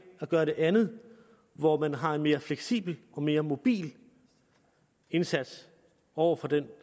at gøre det andet hvor man har en mere fleksibel og mere mobil indsats over for den